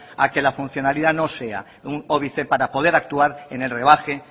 a que la funcionalidad no sea un óbice para poder actuar en el rebaje